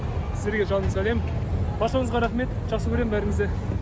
сіздерге жалынды сәлем баршаңызға рақмет жақсы көрем бәріңізді